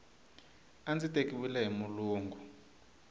a ndzi tekiwile hi mulungu